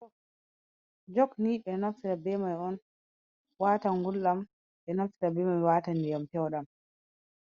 Jog. Jog Ni ɓe naftira be mai on, waata ngulɗam, ɓe naftira be mai waata ndiyam pewɗam,